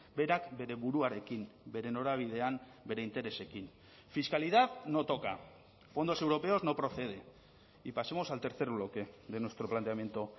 berak bere buruarekin bere norabidean bere interesekin fiscalidad no toca fondos europeos no procede y pasemos al tercer bloque de nuestro planteamiento